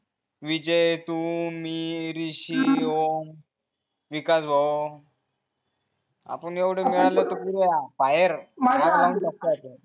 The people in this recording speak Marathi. विजय तू मी ॠशी ओम विकास भाऊ आपण एवढे मिळाले तर